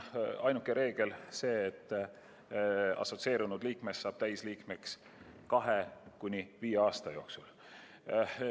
Ainuke reegel on see, et assotsieerunud liikmest saab täisliige 2–5 aasta jooksul.